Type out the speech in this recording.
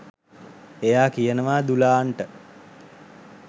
එයා කියනවා දුලාන්ට